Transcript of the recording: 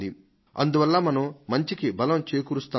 అందువల్ల మనం మంచికి బలం చేకూరుస్తామో